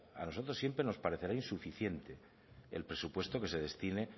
a nosotros siempre nos parecerá insuficiente el presupuesto que se destine